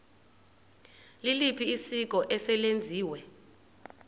liliphi isiko eselenziwe